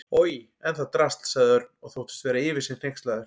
Oj, en það drasl sagði Örn og þóttist vera yfir sig hneykslaður.